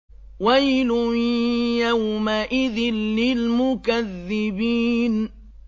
وَيْلٌ يَوْمَئِذٍ لِّلْمُكَذِّبِينَ